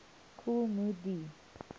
kool moe dee